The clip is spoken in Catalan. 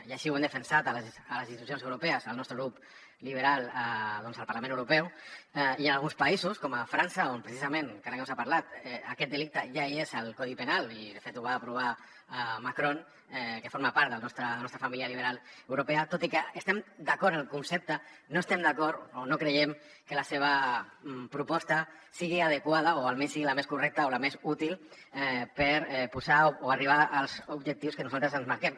i així ho hem defensat a les institucions europees el nostre grup liberal al parlament europeu i hi han alguns països com frança on precisament encara que no se n’ha parlat aquest delicte ja és al codi penal i de fet ho va aprovar macron que forma part de la nostra família liberal europea tot i que estem d’acord amb el concepte no estem d’acord o no creiem que la seva proposta sigui adequada o almenys sigui la més correcta o la més útil per posar o arribar als objectius que nosaltres ens marquem